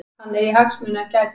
Hann eigi hagsmuni að gæta.